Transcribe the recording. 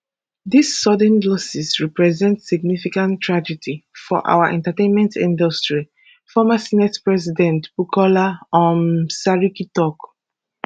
dis sudden losses represent significant tragedy for our entertainment industry former senate president bukola um saraki tok